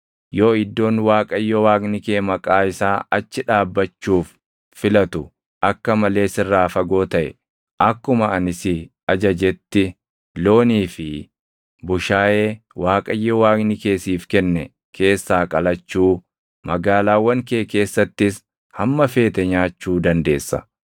Yoo iddoon Waaqayyo Waaqni kee Maqaa isaa achi dhaabbachuuf filatu akka malee sirraa fagoo taʼe, akkuma ani si ajajetti loonii fi bushaayee Waaqayyo Waaqni kee siif kenne keessaa qalachuu, magaalaawwan kee keessattis hamma feete nyaachuu dandeessa.